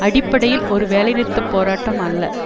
அடிப்படையில் ஒரு வேலை நிறுத்த போராட்டம் அல்ல